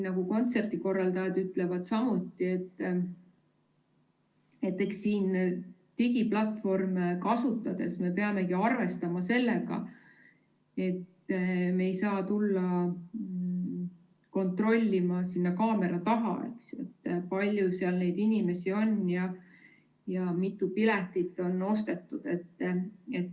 Nagu kontserdikorraldajad samuti ütlevad, siis eks siin digiplatvorme kasutades me peamegi arvestama sellega, et me ei saa tulla kontrollima kaamera taha, kui palju seal neid inimesi on ja mitu piletit on ostetud.